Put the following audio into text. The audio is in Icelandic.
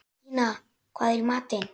Regína, hvað er í matinn?